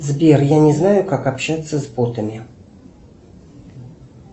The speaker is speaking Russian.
сбер я не знаю как общаться с ботами